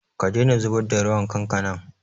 Ka daina zubar da ruwan kankanan!